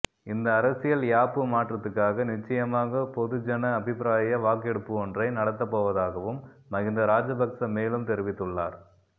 இந்த அரசியல் யாப்பு மாற்றத்துக்காக நிச்சயமாக பொதுஜன அபிப்பிராய வாக்கெடுப்பொன்றை நடாத்தப் போவதாகவும் மஹிந்த ராஜபக்ஸ மேலும் தெரிவித்துள்ளார்